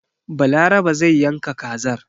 Balarabe zai yanka kazar.